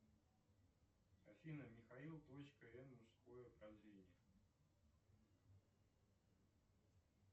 афина михаил точка н мужское прозрение